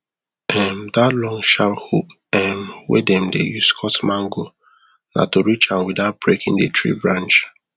um that long sharp hook um wey dem dey use cut mango na to reach am without breaking the tree branch